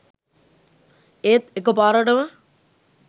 ඒත් එක පාරටම